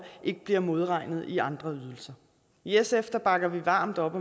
ikke bliver modregnet i andre ydelser i sf bakker vi varmt op